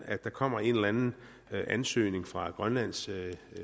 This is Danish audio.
at der kommer en eller anden ansøgning fra grønlands